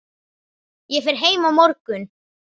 Ég fer heim á morgun.